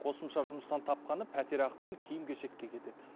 қосымша жұмыстан тапқаны пәтерақы мен киім кешекке кетеді